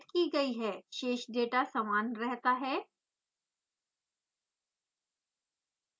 शेष डेटा समान रहता है